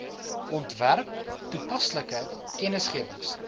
ontwerp toepaslike kennisgewings